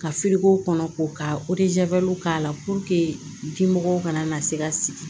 Ka kɔnɔ ko ka k'a la kana na se ka sigi